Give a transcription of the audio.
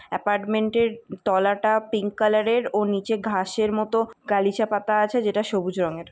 Apartment এর তলাটা pink colour এর ও নিচে ঘাস এর মত গালিচা পাতা আছে যেটা সবুজ রঙের।